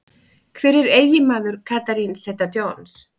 Hver er eiginmaður Catherine Zeta-Jones?